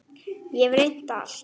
Ég hef reynt allt.